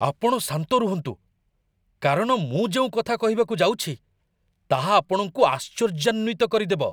ଆପଣ ଶାନ୍ତ ରୁହନ୍ତୁ, କାରଣ ମୁଁ ଯେଉଁ କଥା କହିବାକୁ ଯାଉଛି ତାହା ଆପଣଙ୍କୁ ଆଶ୍ଚର୍ଯ୍ୟାନ୍ୱିତ କରିଦେବ!